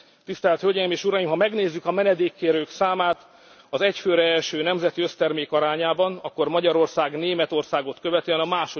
nem. Tisztelt Hölgyeim és Uraim, ha megnézzük a menedékkérők számát az egy főre eső nemzeti össztermék arányában, akkor Magyarország Németországot követően